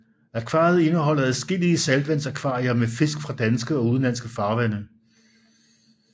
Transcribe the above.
Akvariet indeholder adskillige saltvandsakvarier med fisk fra danske og udenlandske farvande